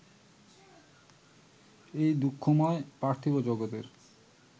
এই দুঃখময় পার্থিব জগতের